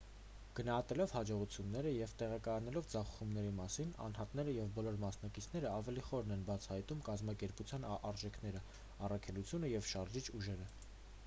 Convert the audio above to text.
գնահատելով հաջողությունները և տեղեկանալով ձախողումների մասին անհատները և բոլոր մասնակիցները ավելի խորն են բացահայտում կազմակերպության արժեքները առաքելությունը և շարժիչ ուժերը